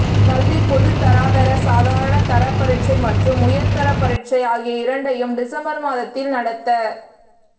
கல்வி பொதுத்தராதர சாதாரண தர பரீட்சை மற்றும் உயர் தர பரீட்சை ஆகிய இரண்டையும் டிசம்பர் மாதத்தில் நடத்த